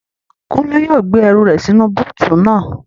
Kúnlé yóò gbé ẹrù rẹ̀ sínú búùtù naa